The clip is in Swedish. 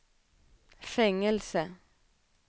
fängelse